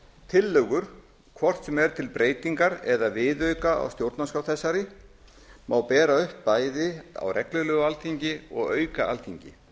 tillögur hvort sem er til breytingar eða viðauka á stjórnarskrá þessari má bera upp bæði á reglulegu alþingi og auka alþingi